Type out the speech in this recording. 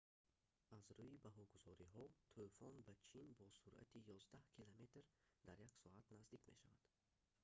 аз рӯи баҳогузориҳо тӯфон ба чин бо суръати ёздаҳ километр дар як соат наздик мешавад